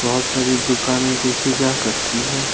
बहोत सारी दुकानें देखी जा सकती है।